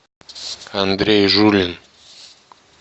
андрей жулин